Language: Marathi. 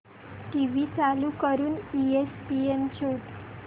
टीव्ही चालू करून ईएसपीएन शोध